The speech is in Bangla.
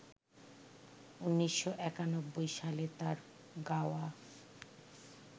১৯৯১ সালে তাঁর গাওয়া